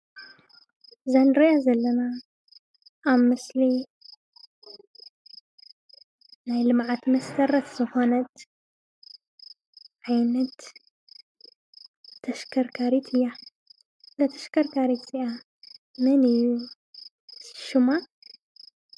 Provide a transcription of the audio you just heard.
እዛ ንሪአ ዘለና አብ ምስሊ ናይ ልምዓት መሰረት ዝኮነት ዓይነት ተሽከርካሪት እያ። እዛ ተሽከርካሪት እዚአ መን እዩ ሽማ?